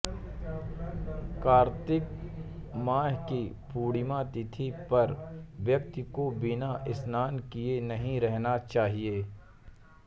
कार्तिक माह की पूर्णिमा तिथि पर व्यक्ति को बिना स्नान किए नहीं रहना चाहिए